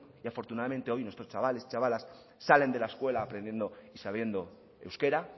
y afortunadamente hoy nuestros chavales y chavalas salen de la escuela aprendiendo y sabiendo euskera